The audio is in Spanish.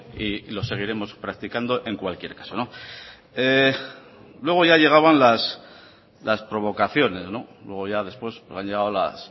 y lo seguiremos practicando en cualquier caso luego ya llegaban las provocaciones luego ya después han llegado las